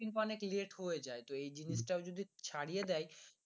অনেক late হয়ে যাই তো এই জিনিস তো যদি ছাড়িয়ে দেয়